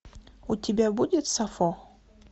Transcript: у тебя будет сафо